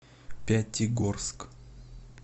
пятигорск